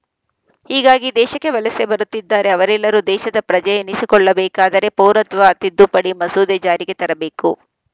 ಹೀಗಾಗಿ ದೇಶಕ್ಕೆ ವಲಸೆ ಬರುತ್ತಿದ್ದಾರೆ ಅವರೆಲ್ಲರೂ ದೇಶದ ಪ್ರಜೆ ಎನಿಸಿಕೊಳ್ಳಬೇಕಾದರೆ ಪೌರತ್ವ ತಿದ್ದುಪಡಿ ಮಸೂದೆ ಜಾರಿಗೆ ಬರಬೇಕು